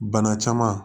Bana caman